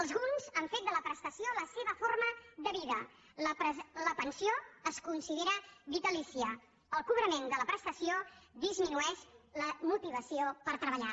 alguns han fet de la prestació la seva forma de vida la pensió es considera vitalícia el cobrament de la prestació disminueix la motivació per treballar